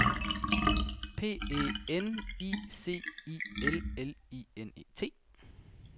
P E N I C I L L I N E T